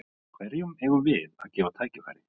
Hverjum eigum við að gefa tækifæri?